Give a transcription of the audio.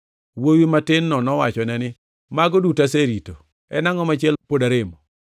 Wuowi matin-no nowachone niya, “Mago duto aserito. En angʼo machielo ma pod aremo?”